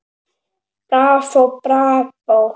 Bravó, bravó